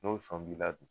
N'o sɔn b'i la bi